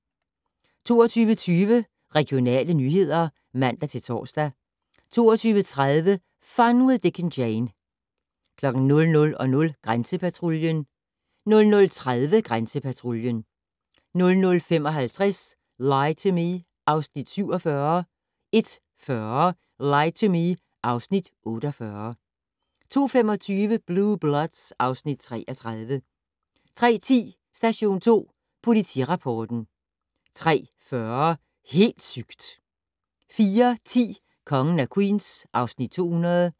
22:20: Regionale nyheder (man-tor) 22:30: Fun with Dick and Jane 00:00: Grænsepatruljen 00:30: Grænsepatruljen 00:55: Lie to Me (Afs. 47) 01:40: Lie to Me (Afs. 48) 02:25: Blue Bloods (Afs. 33) 03:10: Station 2 Politirapporten 03:40: Helt sygt! 04:10: Kongen af Queens (Afs. 200)